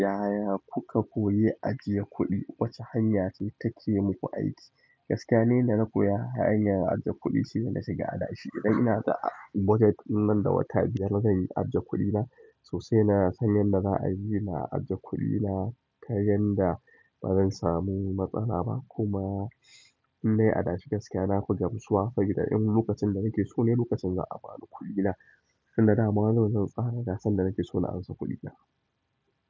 Yaya kuka koya ajiye kuɗi? Wace hanya ce ta ke muku aiki? Gaskiya ne inda na koya hanyar ajiyar kuɗi shine na shiga adashi. Idan inada budget ɗin nan da wata biyar zan yi aje kuɗi na sai nasan yadda za'a yi na aje kuɗi na ta yadda ba za'a samu matsala ba kuma in naii adashi gaskiya nafi gamsuwa, saboda in lokacin da nake so ne lokacin za'a banikuɗina. Inda dama zan tsara, na san da nake so na ansa kuɗina.